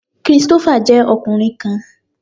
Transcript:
Christopher jẹ ọkunrin kan